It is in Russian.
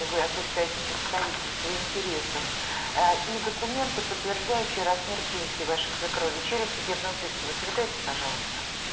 вы осуществляете представительство интересов а и документы подтверждающие размер пенсии вашей свекрови через судебного пристава передайте пожалуйста